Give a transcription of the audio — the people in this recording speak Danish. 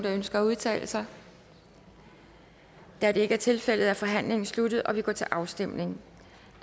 der ønsker at udtale sig da det ikke er tilfældet er forhandlingen sluttet og vi går til afstemning